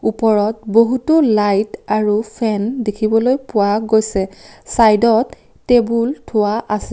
ওপৰত বহুতো লাইট আৰু ফেন দেখিবলৈ পোৱা গৈছে চাইদত টেবুল থোৱা আছে।